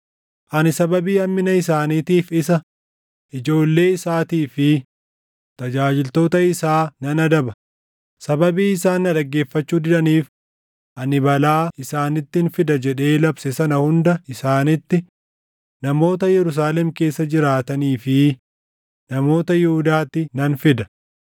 Ani sababii hammina isaaniitiif isa, ijoollee isaatii fi tajaajiltoota isaa nan adaba; sababii isaan na dhaggeeffachuu didaniif ani balaa isaanittin fida jedhee labse sana hunda isaanitti, namoota Yerusaalem keessa jiraatanii fi namoota Yihuudaatti nan fida.’ ”